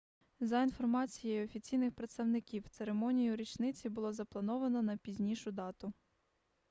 за інформацією офіційних представників церемонію річниці було заплановано на пізнішу дату